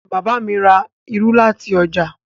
Bàbá mi ra irú láti ọjà.